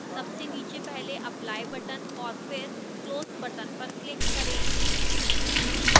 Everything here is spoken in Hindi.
सबसे नीचे पहले apply button और फिर close button पर click करें